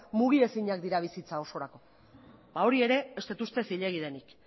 mugi ezinak dira bizitza ororako ba hori ere ez dut uste zilegi denik